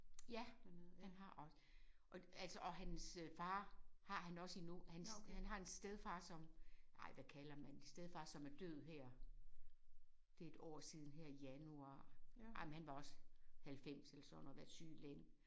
Ja han har og og altså og hans far har han også endnu. Hans han har en stedfar som ej hvad kalder man det stedfar som er død her det et år siden her i januar ej men han var også 90 eller sådan noget havde været syg længe